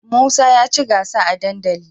Musa yaci gansa a dandali